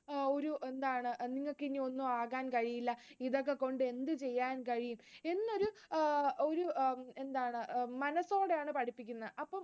അപ്പം ആ ഒരു എന്താണ്, നിങ്ങൾക്കിനി ഒന്നും ആവാൻ കഴിയില്ല, ഇതൊക്കെ കൊണ്ട് എന്ത് ചെയ്യാൻ കഴിയും, എന്നൊരു ആഹ് എന്താണ് ഒരു മനസ്സോടെയാണ് പഠിപ്പിക്കുന്നത്